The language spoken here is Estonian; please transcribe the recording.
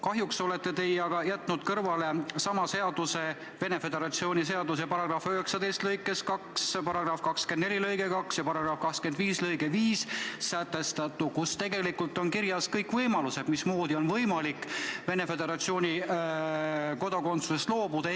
Kahjuks olete aga jätnud kõrvale Venemaa Föderatsiooni sama seaduse § 19 lõikes 2, § 24 lõikes 2 ja § 25 lõikes 5 sätestatu, kus on kirjas võimalused, mismoodi on võimalik Venemaa Föderatsiooni kodakondsusest loobuda.